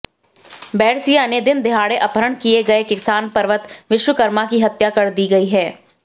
बैरसिया से दिनदहाड़े अपहरण किए गए किसान पर्वत विश्वकर्मा की हत्या कर दी गई है